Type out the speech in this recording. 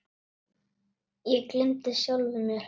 Ég gleymdi sjálfum mér.